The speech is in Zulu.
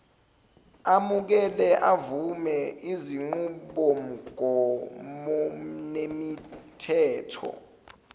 amukela avume izinqubomgomonemithetho